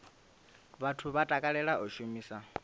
vhathu vha takalela u shumisa